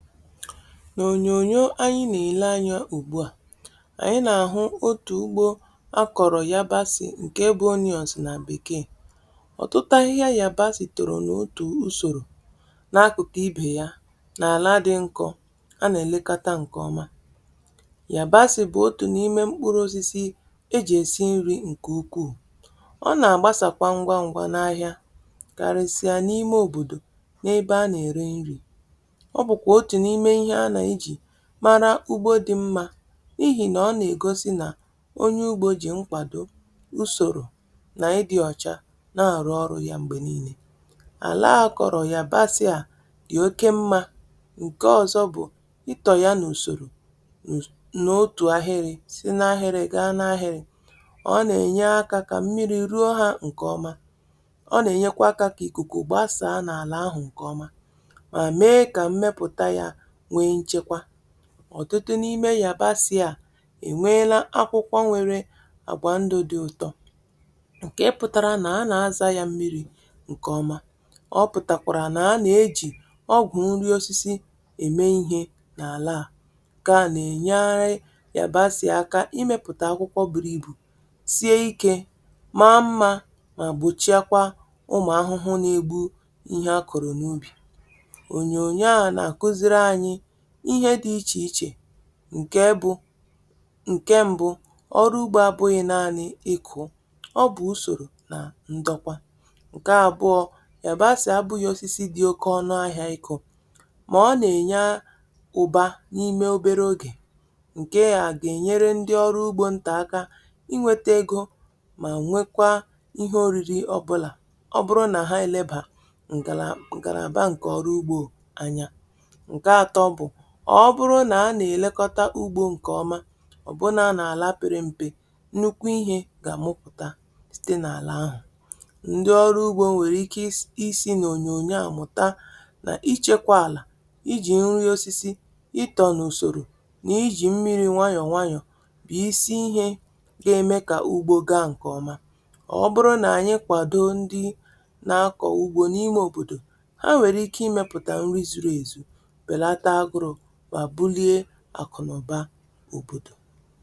Na onyonyo anyị na-ele anya ugbua, anyị na-ahụ otu ugbo akọrọ yabasị. Nke ebe onyọs na bekee ọtụtụ ahịhịa yabasị toro n’otu usoro, n’akụkụ ibe ya n’ala dị nkọ a na-elekọta nke ọma. Yabasị bụ otu n’ime mkpụrụ osisi eji esi nri nke ukwu. Ọ na-agbasa ngwa ngwa n’ahịa, karịsịa n’ime obodo n’ebe a na-ere nri. Mara ugbo dị mma n’ihi na ọ na-egosi na onye ugbo ji nkwado, usoro, na ịdị ọcha na-arụ ọrụ ya. Mgbe niile, ala akọrọ ya basịa dị oke mma. Nke ọzọ bụ i to ya na usoro, na otu ahịrị si n’ahịrị gaa n’ahịrị. Ọ na-enye aka ka mmiri ruo ha nke ọma. Ọ na-enyekwa kwa ka ikuku gbasaa n’ala ahụ nke ọma. Ọtụtụ n’ime yabasị a enweela akwụkwọ nwere agba ndụ dị uto, nke pụtara na a na-a zacha ya mmiri nke ọma. Ọ pụtara kwa na a na-eji ọgwụ nri osisi eme ihe n’ala a. Nke a na-enyere yabasị aka imepụta akwụkwọ buru ibu, sie ike, maa mma, ma gbochikwa ụmụ ahụhụ na-egbu ihe akọrọ n’ubi. Nke bụ nke mbụ: ọrụ ugbo abụghị nanị n’iku, ọ bụ usoro na ndokwa. Nke abụọ: yabasị bụ osisi dị oke ọnụ ahịa n’ahịa, ma ọ na-enye uba n’ime obere oge. Nke a ga-enyere ndị ọrụ ugbo nta aka inweta ego, ma nwee kwa ihe oriri. Ọ bụrụ na ha eleba ngalaba nka na ọrụ ugbo anya, ọ bụrụ na a na-elekọta ugbo nke ọma, ọ bụrụ na a na-ala pere mpe, nnukwu ihe ga-azụputa site n’ala ahụ. Ndị ọrụ ugbo nwere ike isi n’onyonyo a mụta na ichekwa ala, iji nri osisi, ito n’usọ, na iji mmiri nwayọ nwayọ bụ isi ihe ga-eme ka ugbo gaa nke ọma. Ọ bụrụ na anyị kwado ndị na-akọ ugbo n’ime obodo, ha nwere ike imepụta nri zuru ezu na akụrụngwa bara uru maka obodo.